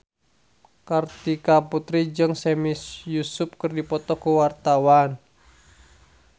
Kartika Putri jeung Sami Yusuf keur dipoto ku wartawan